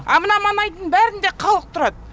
а мына маңайдың бәрінде халық тұрады